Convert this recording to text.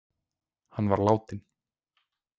Hann var látinn.